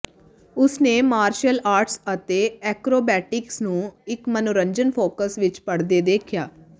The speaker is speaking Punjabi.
ਉਸ ਨੇ ਮਾਰਸ਼ਲ ਆਰਟਸ ਅਤੇ ਐਕਰੋਬੈਟਿਕਸ ਨੂੰ ਇਕ ਮਨੋਰੰਜਨ ਫੋਕਸ ਵਿਚ ਪੜ੍ਹਦਿਆਂ ਦੇਖਿਆ